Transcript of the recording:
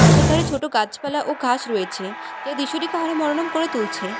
পথের ধারে ছোট গাছপালা ও ঘাস রয়েছে যা দৃশ্যটিকে আরও মনোরম করে তুলছে।